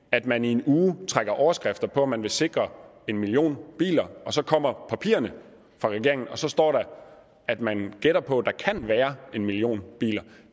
at man i en uge trækker overskrifter på at man vil sikre en million biler så kommer papirerne fra regeringen og så står der at man gætter på at der kan være en million biler